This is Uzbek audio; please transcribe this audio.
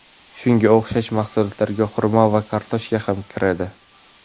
Shunga o‘xshash mahsulotlarga xurmo va kartoshka ham kiradi.